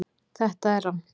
Þetta er rangt